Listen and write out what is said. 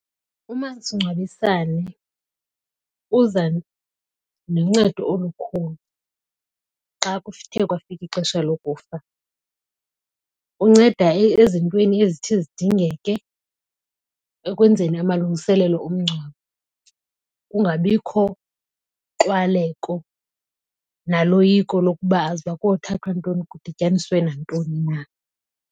Umasingcwabisane uza noncedo olukhulu xa kuthe kwafika ixesha lokufa. Unceda ezintweni ezithi zidingeke ekwenzeni amalungiselelo omngcwabo kungabikho nxwaleko naloyiko lokuba aza uba kothathwa ntoni kudityaniswe nantoni na.